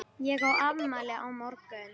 Ég á afmæli á morgun.